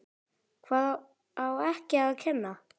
Hvað á ekki að kenna?